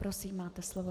Prosím, máte slovo.